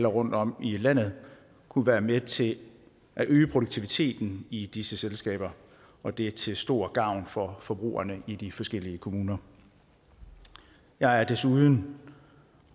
rundtom i landet kunne være med til at øge produktiviteten i disse selskaber og det til stor gavn for forbrugerne i de forskellige kommuner jeg er desuden